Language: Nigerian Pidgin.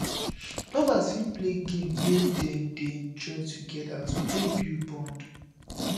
lovers fit play game wey dem dey enjoy together to take bulid bond